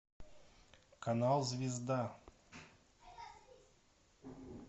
канал звезда